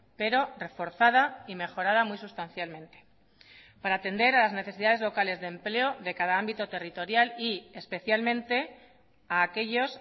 pero reforzada y mejorada muy sustancialmente para atender a las necesidades locales de empleo de cada ámbito territorial y especialmente a aquellos